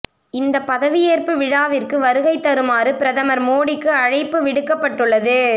இந்த பதவியேற்பு விழாவிற்கு வருகை தருமாறு பிரதமர் மோடிக்கு அழைப்பு விடுக்கப்பட்டுள்ளது